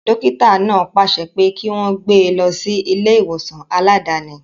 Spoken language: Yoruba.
Dókítà náà pàṣẹ pé kí wọ́n gbé e lọ sí ilé ìwòsàn aláàdáni